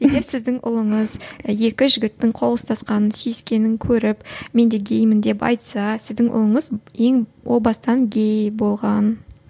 егер сіздің ұлыңыз екі жігіттің қол ұстасқанын сүйіскенін көріп мен де геймін деп айтса сіздің ұлыңыз ең о бастан гей болған